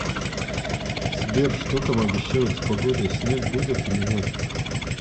сбер что там обещают с погодой снег будет или нет